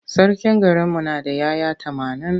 Sarkin garinmu na da ‘ya’ya tamanin.